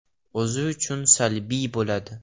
O‘zi uchun salbiy bo‘ladi.